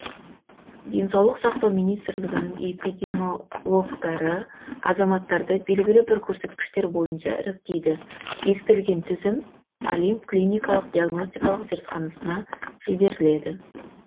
денсаулық сақтау министрлігінің эпидемиологтары азаматтарды белгілі бір көрсеткіштер бойынша іріктейді бекітілген тізім олимп клиникалық диагностикалық зертханасына жіберіледі